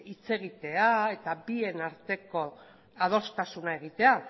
hitz egitea eta bien arteko adostasuna egitea